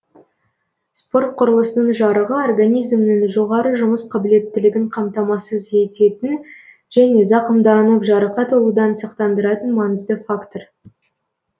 спорт құрылысының жарығы организмнің жоғары жұмыс қабілеттілігін қамтамасыз ететін және зақымданып жарақат алудан сақтандыратын маңызды фактор